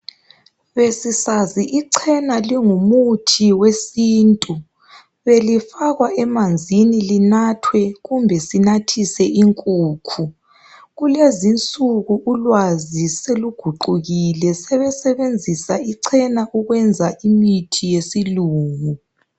Besisazi ichena lingumuthi wesintu. Belifakwa emanzini linathwe kumbe sinathise inkukhu. Kulezinsuku ulwazi seluguqukile, sebesenzisa ichena ukwenza imithi yesilungu.